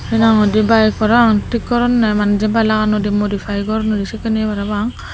he nang hoi di bike parapang thik goronne mane Jin piy lagannoi di modifie goronnoi di sedekkin yea parapang.